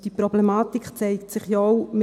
Diese Problematik zeigt sich ja auch …